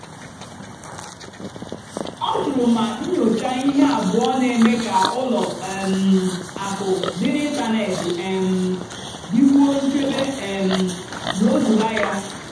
ọ́ jụrụ mà nnyòchá íhé àbúọ́ nà-èmékà ùlọ um àkụ́ dì n'ị́ntánètị́ um dìkwúó nchèbè um n'òzúlà yá.